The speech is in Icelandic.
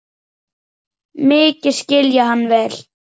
Mikið skil ég hann vel.